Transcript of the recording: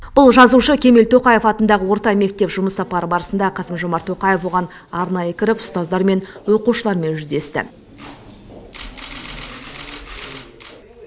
бұл жазушы кемел тоқаев атындағы орта мектеп жұмыс сапары барысында қасым жомарт тоқаев оған арнайы кіріп ұстаздармен оқушылармен жүздесті